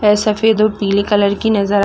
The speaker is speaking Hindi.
वह सफ़ेद और पिले कलर की नज़र आ--